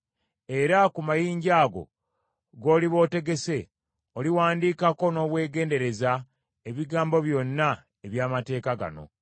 Era ku mayinja ago g’oliba otegese oliwandiikako n’obwegendereza ebigambo byonna eby’amateeka gano.”